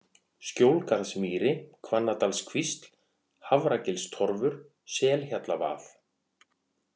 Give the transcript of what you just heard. Skjólgarðsmýri, Hvannadalakvísl, Hafragilstorfur, Selhjallavað